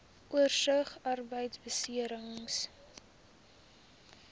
oorsig arbeidbeserings